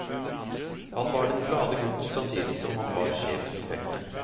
Han var den glade gutten samtidig som har var sjefen i feltet.